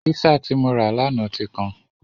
Písà tí mo rà lánàá ti kan.